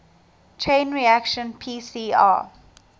chain reaction pcr